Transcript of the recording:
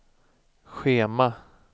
schema